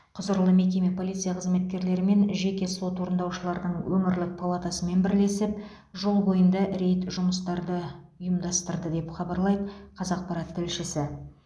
құзырлы мекеме полиция қызметкерлері мен жеке сот орындаушылардың өңірлік палатасымен бірлесіп жол бойында рейд жұмыстарды ұйымдастырды деп хабарлайды қазақпарат тілшісі